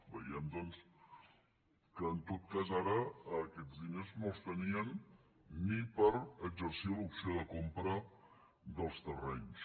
veiem doncs que en tot cas ara aquests diners no els tenien ni per exercir l’operació de compra dels terrenys